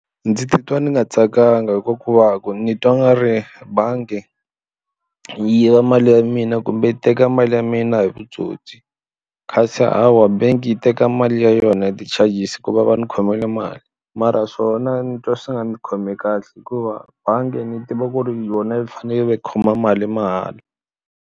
Ndzi titwa ndzi nga tsakanga hikuva ku ni twa nga ri bangi yi yiva mali ya mina kumbe yi teka mali ya mina hi vutsotsi kasi hawa banking yi teka mali ya yona ya ti-charges ku va va ni khomile mali mara swona ni twa swi nga ndzi khomi kahle hikuva bangi ni tiva ku ri yona yi fanele yi khoma mali mahala.